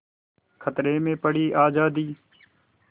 खतरे में पड़ी आज़ादी